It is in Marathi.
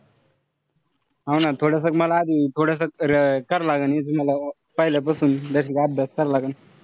हाव ना थोडस मला आधी थोडसक करावं लागन. इथं मला पहिल्यापासून basic अभ्यास करावं लागन.